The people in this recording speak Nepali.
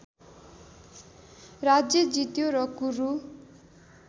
राज्य जित्यो र कुरु